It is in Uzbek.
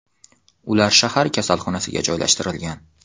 Ular shahar kasalxonasiga joylashtirilgan.